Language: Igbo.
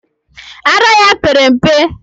Ara ya pere mpe.